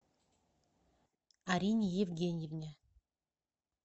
арине евгеньевне